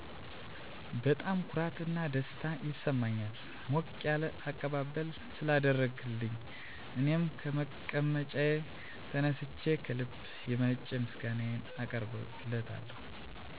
በጣም ኩራት እና ደስታ ይሰማኛል ሞቅ ያለ አቀባበል ስላደረገልኝ እኔም ከመቀመጫዬ ተነስቸ ከልብ የመነጨ ምስጋናየን አቀርብለታለሁ።